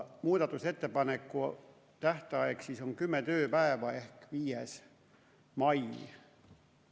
Muudatusettepanekute tähtaeg on kümme tööpäeva ehk 5. mai.